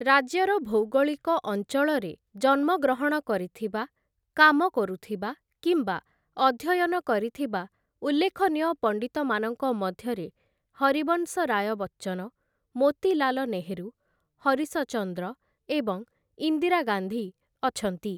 ରାଜ୍ୟର ଭୌଗୋଳିକ ଅଞ୍ଚଳରେ ଜନ୍ମ ଗ୍ରହଣ କରିଥିବା, କାମ କରୁଥିବା କିମ୍ବା ଅଧ୍ୟୟନ କରିଥିବା ଉଲ୍ଲେଖନୀୟ ପଣ୍ଡିତମାନଙ୍କ ମଧ୍ୟରେ ହରିବଂଶ ରାୟ ବଚ୍ଚନ, ମୋତିଲାଲ ନେହେରୁ, ହରିଶ ଚନ୍ଦ୍ର ଏବଂ ଇନ୍ଦିରା ଗାନ୍ଧୀ ଅଛନ୍ତି ।